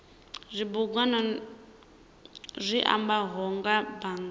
zwibugwana zwi ambaho nga bannga